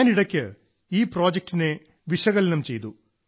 ഞാൻ ഇടയ്ക്ക് ഈ പ്രോജക്ടിനെ വിശകലനം ചെയ്തു